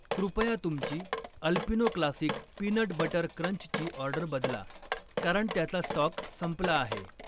कृपया तुमची Alpino classic peanut butter क्रंचची ऑर्डर बदला, कारण त्याचा स्टॉक संपला आहे